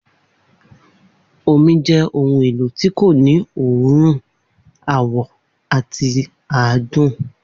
Omi jẹ́ ohun èlò tí kò ní òórùn, àwọ̀ àti, àádùn